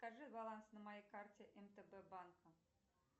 покажи баланс на моей карте мтб банка